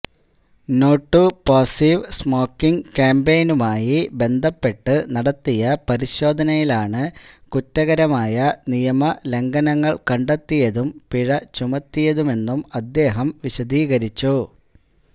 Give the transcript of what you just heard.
no to passive smoking കാമ്പയിനുമായി ബന്ധപ്പെട്ട് നടത്തിയ പരിശോധനയിലാണ് കുറ്റകരമായ നിയമലംഘനങ്ങള് കണ്ടെത്തിയതും പിഴ ചുമത്തിയതുമെന്നും അദ്ദേഹം വിശദീകരിച്ചു